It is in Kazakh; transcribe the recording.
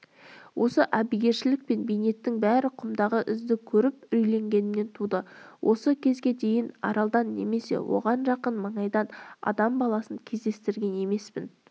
осы әбігершілік пен бейнеттің бәрі құмдағы ізді көріп үрейленгенімнен туды осы кезге дейін аралдан немесе оған жақын маңайдан адам баласын кездестірген емеспін